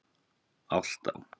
Álftá